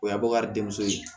O ye bakari denmuso ye